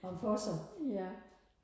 ham for sig